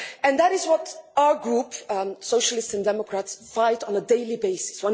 That is what our group, the Socialists and Democrats, fight for on a daily basis.